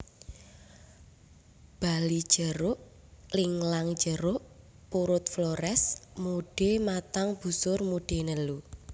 Bali jeruk linglang jeruk purut Flores mude matang busur mude nelu